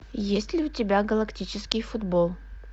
есть ли у тебя галактический футбол